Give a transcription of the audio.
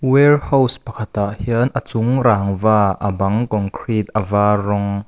warehouse pakhatah hian a chung rang va a bang concrete a var rawng --